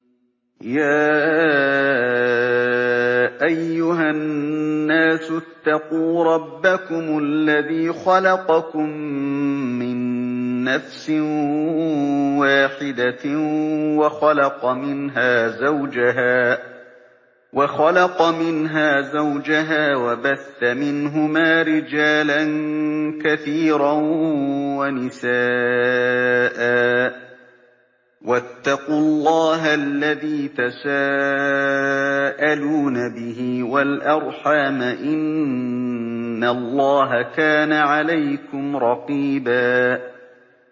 يَا أَيُّهَا النَّاسُ اتَّقُوا رَبَّكُمُ الَّذِي خَلَقَكُم مِّن نَّفْسٍ وَاحِدَةٍ وَخَلَقَ مِنْهَا زَوْجَهَا وَبَثَّ مِنْهُمَا رِجَالًا كَثِيرًا وَنِسَاءً ۚ وَاتَّقُوا اللَّهَ الَّذِي تَسَاءَلُونَ بِهِ وَالْأَرْحَامَ ۚ إِنَّ اللَّهَ كَانَ عَلَيْكُمْ رَقِيبًا